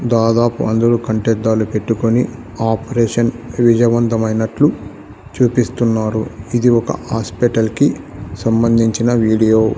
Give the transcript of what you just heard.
దాదాపు అందరూ కంటి అద్దాలు పెట్టుకొని ఆపరేషన్ విజయవంతమైనట్లు చూపిస్తున్నారు ఇది ఒక హాస్పటల్ కి సంబంధించిన వీడియో .